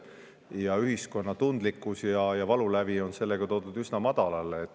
Ja ühiskonna tundlikkus ja valulävi on sellega toodud üsna madalale.